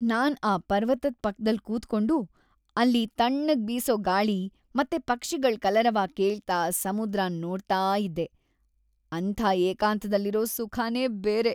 ನಾನ್ ಆ ಪರ್ವತದ್ ಪಕ್ದಲ್ ಕೂತ್ಕೊಂಡು, ಅಲ್ಲಿ ತಣ್ಣಗ್ ಬೀಸೋ ಗಾಳಿ ಮತ್ತೆ ಪಕ್ಷಿಗಳ್ ಕಲರವ ಕೇಳ್ತಾ ಸಮುದ್ರನ್ ನೋಡ್ತಾ ಇದ್ದೆ.. ಅಂಥ ಏಕಾಂತದಲ್ಲಿರೋ ಸುಖನೇ ಬೇರೆ.